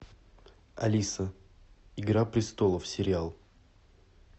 алиса игра престолов сериал